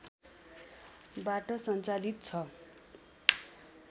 बाट सञ्चालित छ